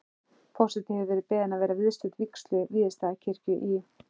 Forseti hefur verið beðin að vera viðstödd vígslu Víðistaðakirkju í